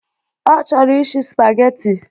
Ọ chọrọ ishi spageti.